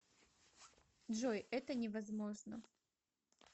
джой это не возможно